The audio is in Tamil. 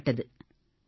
தொடங்கப்பட்டது